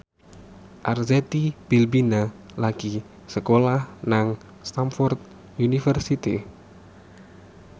Arzetti Bilbina lagi sekolah nang Stamford University